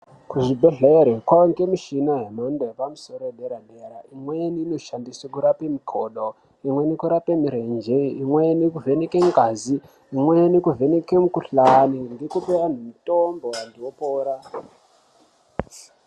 Kuzvibhedhera kwaane mishina yemhando yepamusoro yedera dera . Imweni inoshandiswe kurape makodo. Imweni kurape mirenje . Imweni kuvheneke ngazi. Imweni kuvheneke mukhuhlani nekupe antu mitombo antu opora.